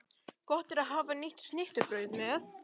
Gott er að hafa nýtt snittubrauð með.